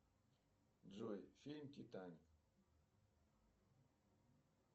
джой фильм титаник